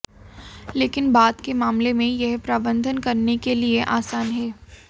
लेकिन बाद के मामले में यह प्रबंधन करने के लिए आसान है